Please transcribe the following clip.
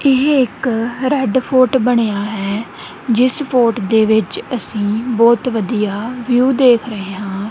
ਇਹ ਇੱਕ red fort ਬਣਿਆ ਹੈ ਜਿਸ ਫੋਰਟ ਦੇ ਵਿੱਚ ਅਸੀ ਬਹੁਤ ਵਧੀਆ ਵਿਊ ਦੇਖ ਰਹੇ ਹਾਂ।